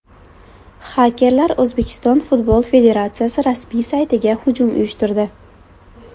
Xakerlar O‘zbekiston futbol federatsiyasi rasmiy saytiga hujum uyushtirdi.